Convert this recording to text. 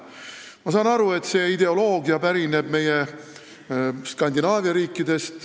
Ma saan aru, et see ideoloogia pärineb Skandinaavia riikidest.